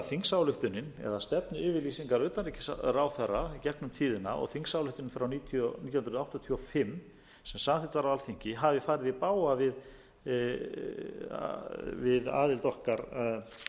þingsályktunin eða stefnuyfirlýsingar utanríkisráðherra í gegnum tíðina og þingsályktunin frá nítján hundruð áttatíu og fimm sem samþykkt var á alþingi hafi farið i bága við aðild okkar að